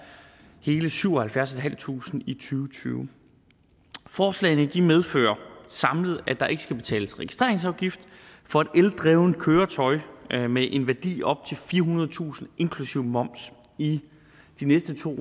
og hele syvoghalvfjerdstusinde tusind og tyve forslagene medfører samlet at der ikke skal betales registreringsafgift for et eldrevent køretøj med en værdi op til firehundredetusind inklusive moms i de næste to